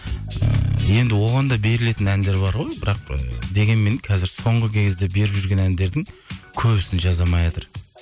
ыыы енді оған да берілетін әндер бар ғой бірақ і дегенмен қазір соңғы кезде беріп жүрген әндердің көбісін жаза алмайатыр